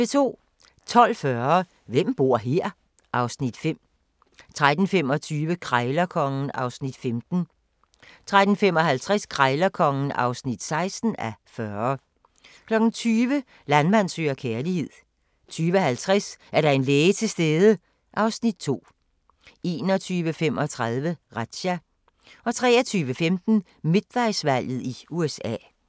12:40: Hvem bor her? (Afs. 5) 13:25: Krejlerkongen (15:40) 13:55: Krejlerkongen (16:40) 20:00: Landmand søger kærlighed 20:50: Er der en læge til stede? (Afs. 2) 21:35: Razzia 23:15: Midtvejsvalget i USA